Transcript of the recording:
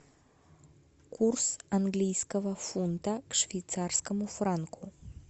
курс английского фунта к швейцарскому франку